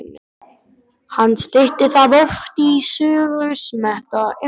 Hann stytti það oft í Sögusmettu eða bara